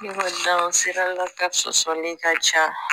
Ne ko dansirala ka sɔsɔli ka ca